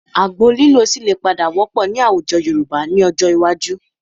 Àgbo lílò ṣì lè padà wọ́pọ̀ ní àwùjọ Yorùbá ní ọjọ́ iwájú